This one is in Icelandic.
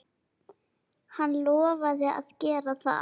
Hann lofaði að gera það.